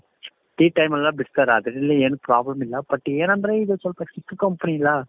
tea time ಅಲ್ಲಿ ಎಲ್ಲಾ ಬಿಡ್ತಾರೆ ಅದರಲ್ಲಿ ಏನು problem ಇಲ್ಲ but ಏನಂದ್ರೆ ಇದು ಸ್ವಲ್ಪ ಚಿಕ್ಕು company ಇಲ್ಲ